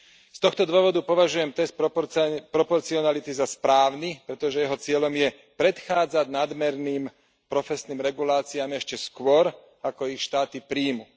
Z tohto dôvodu považujem test proporcionality za správny, pretože jeho cieľom je predchádzať nadmerným profesijným reguláciám ešte skôr, ako ich štáty prijmú.